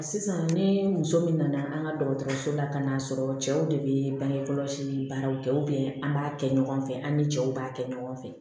Sisan ni muso min nana an ka dɔgɔtɔrɔso la ka n'a sɔrɔ cɛw de be bange kɔlɔsi ni baaraw kɛ an b'a kɛ ɲɔgɔn fɛ an ni cɛw b'a kɛ ɲɔgɔn fɛ